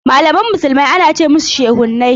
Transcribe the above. Malaman musulmi ana ce musushehunai.